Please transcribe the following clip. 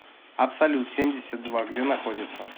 абсолют семьдесят два где находится